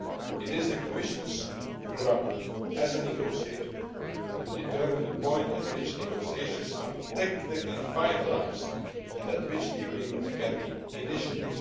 It is the Commission's prerogative, as a negotiator, to determine the point at which negotiations are technically finalised and at which the agreement can be initialled.